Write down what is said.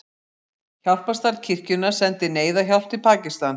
Hjálparstarf kirkjunnar sendir neyðarhjálp til Pakistan